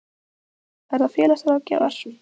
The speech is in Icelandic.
Verða félagsráðgjafar?